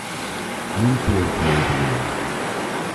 In pevko je zadelo.